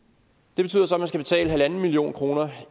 det betyder så at man skal betale en million kroner